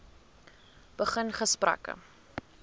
begin gesprekke